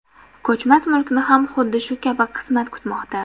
Ko‘chmas mulkni ham xuddi shu kabi qismat kutmoqda.